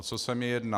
O co se mi jedná.